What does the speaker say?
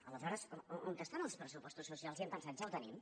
aleshores on estan els pressupostos socials i hem pensat ja ho tenim